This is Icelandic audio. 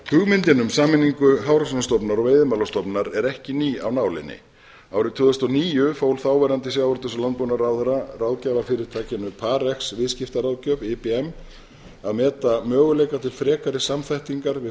hugmyndin um sameiningu hafrannsóknastofnunar og veiðimálastofnunar er ekki ný af nálinni árið tvö þúsund og níu fól þáverandi sjávarútvegs og landbúnaðarráðherra ráðgjafarfyrirtækinu parx viðskiptaráðgjöf ibm að meta möguleika til frekari samþættingar við